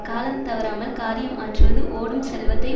கால தவறாமல் காரியம் ஆற்றுவது ஓடும் செல்வத்தை